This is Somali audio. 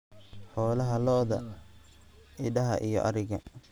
"Xoolaha - Lo'da, Idaha iyo Ariga."